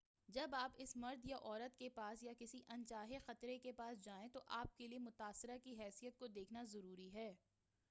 جب آپ اس مرد یا عورت کے پاس یا کسی ان چاہے خطرے کے پاس جائیں تو آپ کے لئے متاثرہ کی حیثیت کو دیکھنا ضروی ہے